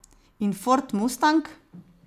In ford mustang?